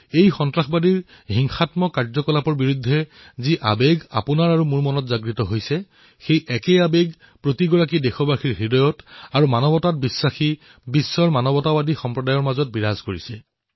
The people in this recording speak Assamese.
এই সন্ত্ৰাসবাদী হিংসাৰ বিৰুদ্ধে যি আবেগ আপোনাৰ মোৰ মনত উদয় হৈছে সেই একে আবেগেই প্ৰতিজন দেশবাসীৰ অন্তৰ্মন তথা মানৱতাত বিশ্বাসী বিশ্বৰ মানৱতাবাদী সমাজৰ মনতো উদয় হৈছে